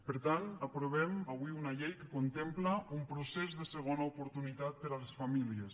per tant aprovem avui una llei que contempla un procés de segona oportunitat per a les famílies